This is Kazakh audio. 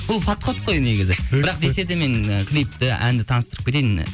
бұл подход қой негізі бірақ десе де мен ы клипті әнді таныстырып кетейін